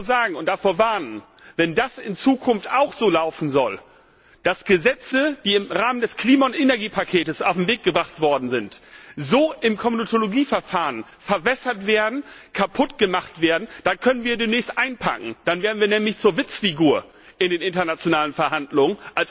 Ich kann nur sagen und davor warnen Wenn das in Zukunft auch so laufen soll, dass Gesetze, die im Rahmen des Klima und Energiepakets auf den Weg gebracht worden sind, im Komitologieverfahren so verwässert und kaputt gemacht werden, dann können wir demnächst einpacken, dann werden wir als Europäische Union in den internationalen Verhandlungen